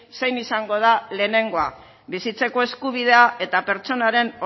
zein izango da lehenengoa bizitzeko eskubidea eta pertsonaren